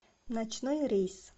ночной рейс